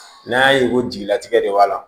N'a y'a ye ko jigilatigɛ de b'a la